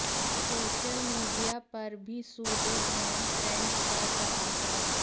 social media पर भी सूर्यग्रहण ट्रेंड कर रहा है